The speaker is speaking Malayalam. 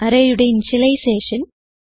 arrayയുടെ ഇനിഷ്യലൈസേഷൻ